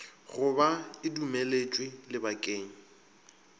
go ba e dumeletšwe lebakeng